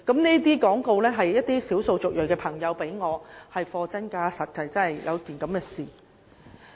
這些廣告單張是一些少數族裔的朋友給我的，確有其事。